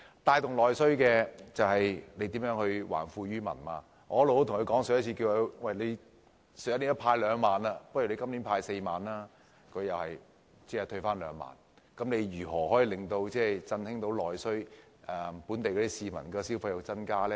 帶動內需就是要還富於民，我曾向政府建議，既然去年派了2萬元，不如今年派4萬元，但政府最終只退回2萬元，試問如何可以振興內需，令本地市民的消費增加呢？